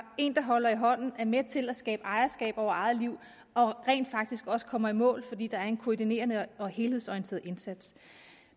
en der holder i hånden er med til at skabe ejerskab over eget liv og rent faktisk også kommer i mål fordi der er en koordinerende og helhedsorienteret indsats